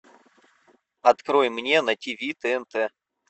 открой мне на тв тнт